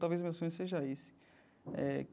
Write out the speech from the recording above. Talvez o meu sonho seja esse eh.